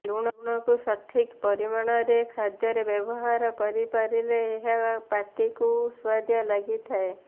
ଲୁଣକୁ ସଠିକ୍ ପରିମାଣରେ ଖାଦ୍ୟରେ ବ୍ୟବହାର କରି ପାରିଲେ ଏହା ପାଟିକୁ ସୁଆଦିଆ ଲାଗି ଥାଏ